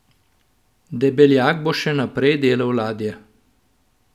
Debeljak bo še naprej delal ladje.